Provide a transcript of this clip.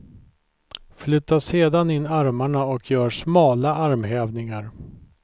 Flytta sedan in armarna och gör smala armhävningar.